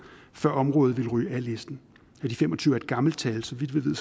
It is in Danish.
før området vil ryge af listen og de fem og tyve er et gammelt tal så vidt vi ved